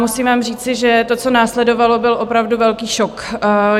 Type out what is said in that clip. Musím vám říci, že to, co následovalo, byl opravdu velký šok.